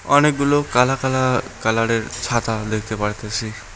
অনেকগুলো কালা কালা কালারের ছাতা দেখতে পারতেসি।